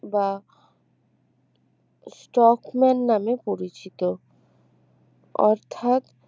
বা স্টকম্যান নামে পরিচিত অর্থাৎ